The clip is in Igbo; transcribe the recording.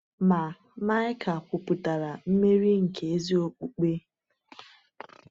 Ma Maịka kwupụtakwara mmeri nke ezi okpukpe.